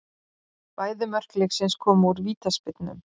Bæði mörk leiksins komu úr vítaspyrnum